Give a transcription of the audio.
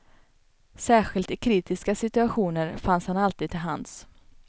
Särskilt i kritiska situationer fanns han alltid till hands.